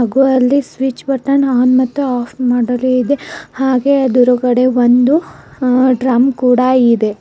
ಹಾಗು ಅಲ್ಲಿ switch button on ಮತ್ತು ಆಫ್ ಮಾಡಲೇ ಇದೆ ಹಾಗೆ ಅದುರುಗಡೆ ಒಂದು ಡ್ರಮ್ ಕೂಡ ಇದೆ.